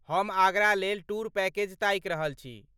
हम आगरा लेल tour package ताकि रहल छी।